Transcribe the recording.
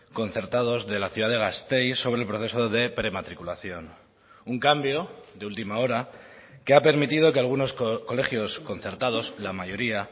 concertados de la ciudad de gasteiz sobre el proceso de prematriculación un cambio de última hora que ha permitido que algunos colegios concertados la mayoría